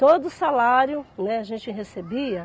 Todo salário, né, a gente recebia.